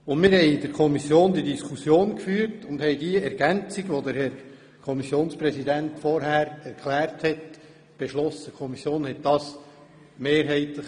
In der Kommission führten wir die Diskussion und die Kommission beschloss die eben vom Kommissionspräsidenten erklärten Ergänzungen mehrheitlich.